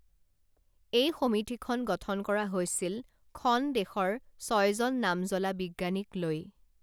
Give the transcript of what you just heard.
এই সমিতিখন গঠন কৰা হৈছিল খন দেশৰ ছয়জন নামজ্বলা বিজ্ঞানীক লৈ